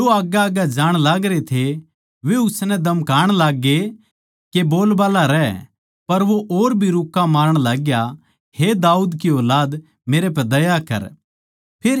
जो आग्गैआग्गै जाण लागरे थे वे उसनै धमकाण लाग्ये के बोलबाल्ला रहै पर वो और भी रुक्का मारण लाग्या हे दाऊद की ऊलाद मेरै पै दया कर